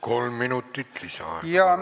Kolm minutit lisaaega.